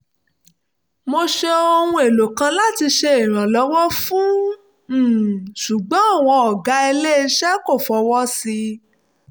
mo ṣe ohun èlò kan láti ṣe ìrànlọ́wọ́ um ṣùgbọ́n àwọn ọ̀gá ilé iṣẹ́ kò fọwọ́ sí i